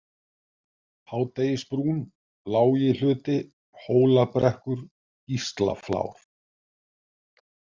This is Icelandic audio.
Hádegisbrún, Lágihluti, Hólabrekkur, Gíslaflár